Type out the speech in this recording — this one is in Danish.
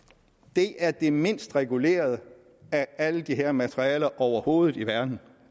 det er det mindst regulerede af alle de her materialer overhovedet i verden